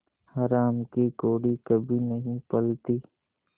हराम की कौड़ी कभी नहीं फलती